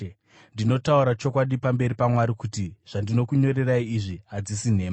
Ndinotaura chokwadi pamberi paMwari kuti zvandinokunyorerai izvi hadzisi nhema.